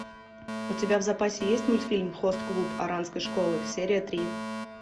у тебя в запасе есть мультфильм хост клуб оранской школы серия три